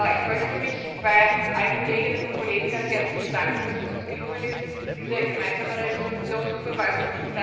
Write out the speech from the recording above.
Ich möchte mich bei allen Kolleginnen und Kollegen ganz herzlich dafür bedanken, dass es uns gelungen ist, diese gemeinsame Entschließung zu verfassen.